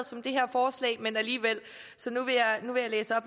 og så